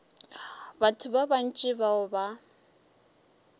batho ba bantši bao ba